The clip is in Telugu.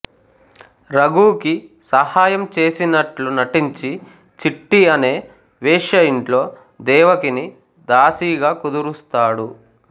రఘూకి సహాయం చేసినట్లు నటించి చిట్టి అనే వేశ్యయింట్లో దేవకిని దాసీగా కుదురుస్తాడు